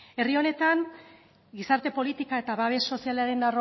herri honetan gizarte politika eta babes sozialaren